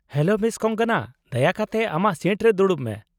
Hello miss ᱠᱚᱝᱜᱚᱱᱟ ᱾ ᱫᱟᱭᱟ ᱠᱟᱛᱮ ᱟᱢᱟᱜ ᱥᱤᱴ ᱨᱮ ᱫᱩᱲᱩᱵ ᱢᱮ ᱾